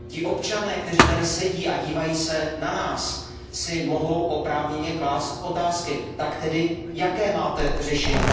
Občané, kteří tady sedí a dívají se na nás, si mohou oprávněně klást otázky Tak jaké máte řešení?